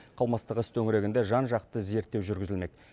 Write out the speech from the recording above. қылмыстық іс төңірегінде жан жақты зерттеу жүргізілмек